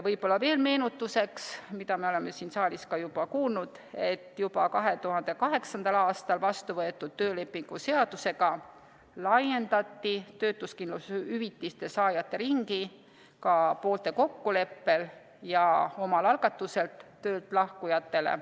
Võib-olla veel meenutuseks, mida me oleme siin saalis ka kuulnud, et juba 2008. aastal vastu võetud töölepingu seadusega laiendati töötuskindlustushüvitiste saajate ringi ka poolte kokkuleppel ja omal algatusel töölt lahkujatele.